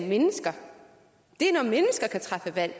mennesker kan træffe valg